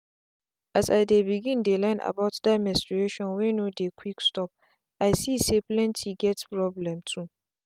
as i begin dey learn about that menstrustion wey no dey quick stopi see say plenty get problem too.